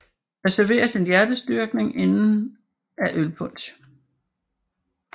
Der serveres en hjertestyrkning inden af ølpunch